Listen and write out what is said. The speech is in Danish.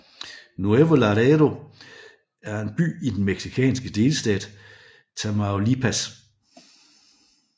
Nuevo Laredo er en by i den mexikanske delstat Tamaulipas